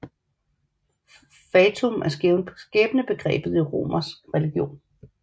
Fatum er skæbnebegrebet i romersk religion